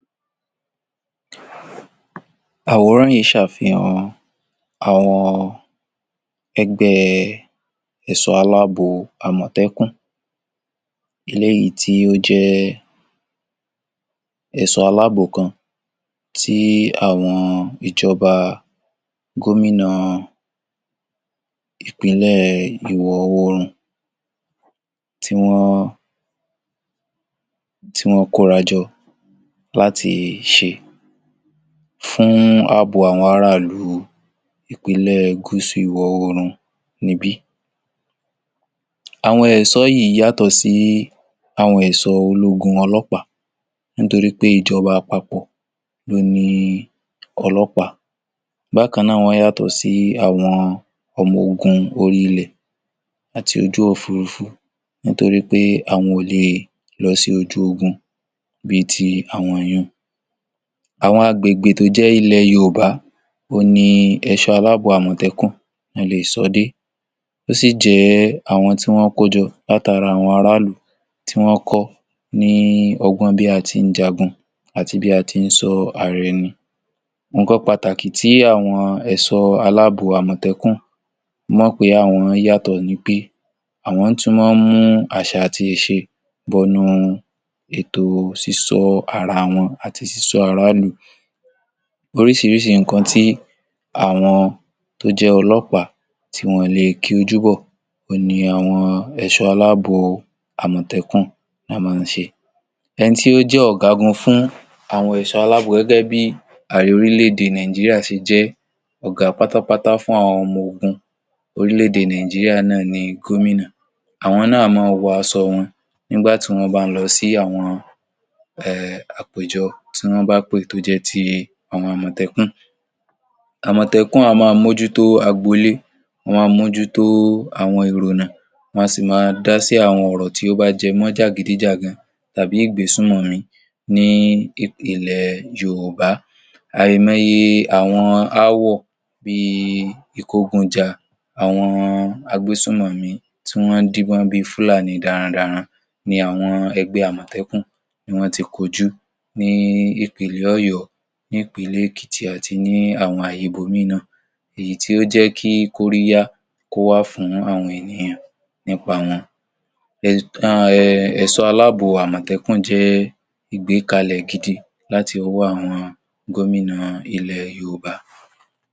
Àwòrán yìí ṣàfihàn àwọn ẹgbẹ́ ẹ̀sọ́ aláàbò àmọ̀tẹ́kùn eléyìí tí ó jẹ́ ẹ̀sọ́ aláàbò kan tí àwọn ìjọba gómìnà Ìpínlẹ̀ ìwọ̀-oòrùn tí wọ́n, tí wọ́n kóra jọ láti ṣe fún àbò àwọn ará ìlú Ìpínlẹ̀ Gúsù ìwọ̀-oòrùn níbí. Àwọn ẹ̀sọ́ yìí yàtọ̀ sí àwọn ẹ̀sọ́ ológun ọlọ́pàá nítorí pé ìjọba àpapọ̀ ló ni ọlọ́pàá, bákan náà wọ́n yàtọ̀ sí àwọn ọmọ ogun orí ilẹ̀ àti ojú òfúrufú nítorí àwọn ò lè lọ sí ojú ogun bi ti àwọn yún un. Àwọn agbègbè tó jẹ́ ilẹ̀ Yorùbá òhun ni ẹ̀sọ́ aláàbò àmọ̀tẹ́kùn ná le è sọ́ dé, ó sì jẹ́ àwọn tí wọ́n kó jọ látara àwọn ará ìlú tí wọ́n kọ́ ní ọgbọ́n bí a ti ń jagun àti bí a ti ń sọ ara ẹni, nǹkan pàtàkì tí àwọn ẹ̀sọ́ aláàbò àmọ̀tẹ́kùn mọ̀ pé àwọn yàtọ̀ ni pé àwọn tún mọ́ ń mú àṣà àti ìṣe bọnú ètò sísọ́ ara wọn àti sísọ́ ará ìlú. Oríṣiríṣi nǹkan tí àwọn tó jẹ́ ọlọ́pàá tí wọn ò lè ki ojú bọ̀ òhun ni àwọn ẹ̀sọ́ aláàbò àmọ̀tẹ́kùn máa ń ṣe. Ẹni tí ó jẹ́ ọ̀gágun fún àwọn ẹ̀sọ́ aláàbò gẹ́gẹ́ bí Ààrẹ orílẹ̀ -èdè Nàìjíríà ṣe jẹ́ Ọ̀gá pátápátá fún àwọn ọmọ ogun orílẹ̀-èdè Nàìjíríà náà ni àwọn gómìnà, àwọn náà a mọ́ wọ aṣọ wọn nígbà tán bá ń lọ àpèjọ, tí wọ́n bá pè tí ó bá jẹ́ ti àwọn àmọ̀tẹ́kùn. Àmọ̀tẹ́kùn a máa mójútó agbolé, wọn a máa mójútó àwọn èrò ọ̀nà, wọn a sì máa dá sí àwọn ọ̀rọ̀ tó bá jẹ mọ́ jàgídíjàgan tàbí ìgbé sùmọ̀mí ní ilẹ̀ Yorùbá, àìmọ̀ye àwọn ááwọ̀ bí i ìkógunjà àwọn a gbé sùmọ̀mí tí wọ́n ń díbọ́n bi Fúlàní darandaran ni àwọn ẹgbẹ́ àmọ̀tẹ́kùn ni wọ́n ti kojú ní Ìpínlẹ̀ Ọ̀yọ́, ní Ìpínlẹ̀ Èkìtì àti ní àwọn ààyè ibòmíì náà, èyí tí ó jẹ́ kí kóríyá kó wà fún àwọn ènìyàn nípa wọn, be, ẹ ẹ, ẹ̀sọ́ aláàbò àmọ̀tẹ́kùn jẹ́ ìgbékalẹ̀ gidi láti ọwọ́ àwọn gómìnà ilẹ̀ ẹ.